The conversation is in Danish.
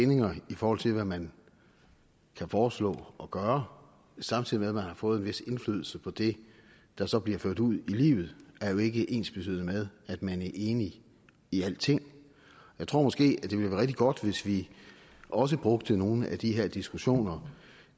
bindinger i forhold til hvad man kan foreslå og gøre samtidig med at man har fået en vis indflydelse på det der så bliver ført ud i livet jo ikke er ensbetydende med at man er enig i alting jeg tror måske det ville være rigtig godt hvis vi også brugte nogle af de her diskussioner